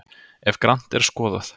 ef grannt er skoðað